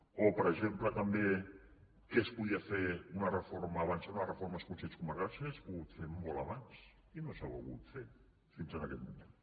o per exemple també que es podia fer una reforma abans una reforma dels consells comarcals s’hauria pogut fer molt abans i no s’ha volgut fer fins a aquest moment